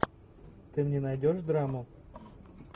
ты мне найдешь драму